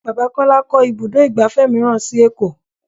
Bàbá Kọ́lá kó ibùdó igbàfẹ́ mìíràn sì èkó.